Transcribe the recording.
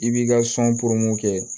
I b'i ka kɛ